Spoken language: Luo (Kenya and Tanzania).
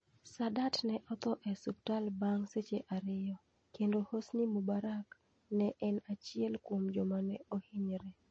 Sadat ne otho e osiptal bang ' seche ariyo, kendo Hosni Mubarak ne en achiel kuom joma ne ohinyore.